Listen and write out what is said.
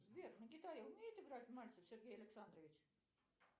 сбер на гитаре умеет играть мальцев сергей александрович